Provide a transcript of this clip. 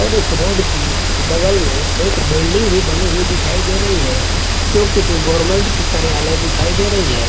और इस रोड की बगल में एक बिल्डिंग भी बनी हुई दिखाई दे रही है जो किसी गवर्नमेंट की कार्यालय दिखाई दे रही है।